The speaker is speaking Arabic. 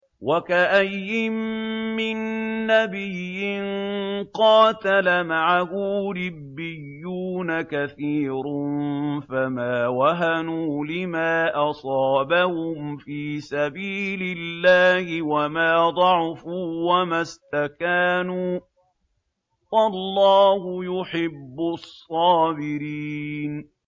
وَكَأَيِّن مِّن نَّبِيٍّ قَاتَلَ مَعَهُ رِبِّيُّونَ كَثِيرٌ فَمَا وَهَنُوا لِمَا أَصَابَهُمْ فِي سَبِيلِ اللَّهِ وَمَا ضَعُفُوا وَمَا اسْتَكَانُوا ۗ وَاللَّهُ يُحِبُّ الصَّابِرِينَ